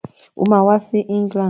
Ó máa wá sí England.